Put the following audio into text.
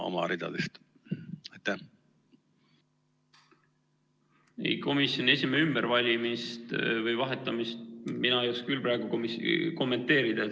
Komisjoni esimehe ümbervalimist või -väljavahetamist mina ei oska küll praegu kommenteerida.